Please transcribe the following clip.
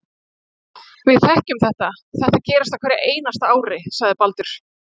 Við þekkjum þetta, þetta gerist á hverju einasta ári, sagði Baldur.